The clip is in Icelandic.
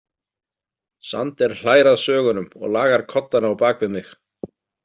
Sander hlær að sögunum og lagar koddana á bak við mig.